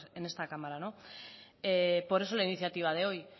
en esta cámara no por eso la iniciativa de hoy